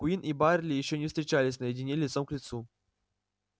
куинн и байерли ещё не встречались наедине лицом к лицу